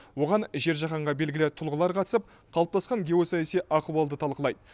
оған жер жаһанға белгілі тұлғалар қатысып қалыптасқан геосаяси ахуалды талқылайды